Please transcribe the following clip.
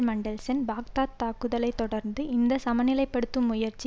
Mandelson Baghdad தாக்குதலை தொடர்ந்து இந்த சமநிலைப்படுத்தும் முயற்சி